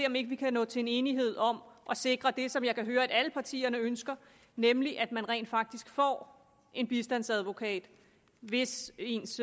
om ikke vi kan nå til enighed om at sikre det som jeg kan høre at alle partierne ønsker nemlig at man rent faktisk får en bistandsadvokat hvis ens